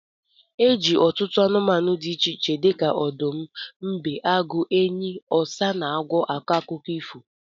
Eji ọtụtụ anumanu di iche iche dika odum, mbe, agu, enyi, osa, na agwo ako akuko ifo.